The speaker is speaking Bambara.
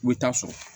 U bɛ taa sɔrɔ